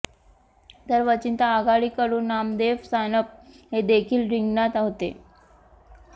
तर वंचित आघाडी कडून नामदेव सानप हे देखील रिंगणात होते